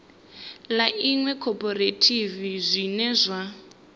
ḽa iṅwe khophorethivi zwine zwa